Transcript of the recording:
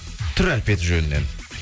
түр әлпеті жөнінен